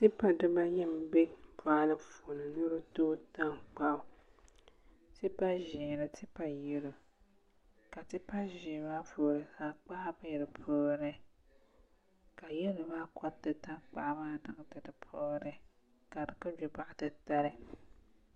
Tipa nim n bɛ boɣali puuni ni bi tooi tankpaɣu tipa ʒiɛ ni tipa yɛlo ka tipa ʒiɛ maa puuni tankpaɣu bɛ di puuni ka yɛlo maa koriti tankpaɣu maa niŋdi di puuni ka di ku gbi boɣa titali